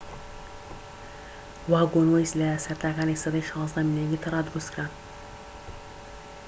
واگۆنوەیس لە سەرەتاکانی سەدەی 16م لە ئینگلترا دروستکران